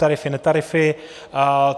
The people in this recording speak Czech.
Tarify, netarify.